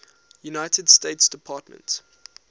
united states department